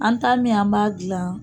An ta min an b'a dilan